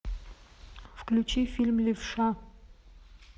включи фильм левша